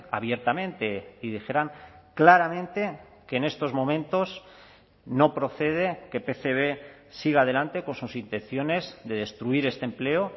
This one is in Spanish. abiertamente y dijeran claramente que en estos momentos no procede que pcb siga adelante con sus intenciones de destruir este empleo